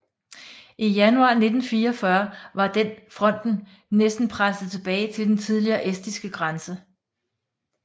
I januar 1944 var den fronten næsten presset tilbage til den tidligere estiske grænse